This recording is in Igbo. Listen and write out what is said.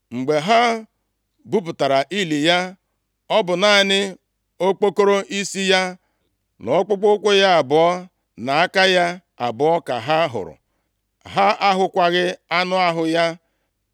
Mgbe ha pụtara ili ya, ọ bụ naanị okpokoro isi ya na ọkpụkpụ ụkwụ ya abụọ, na aka ya abụọ ka ha hụrụ. Ha ahụkwaghị anụ ahụ ya.